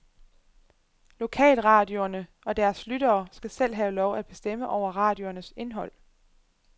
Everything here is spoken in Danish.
Lokalradioerne og deres lyttere skal selv have lov at bestemme over radioernes indhold.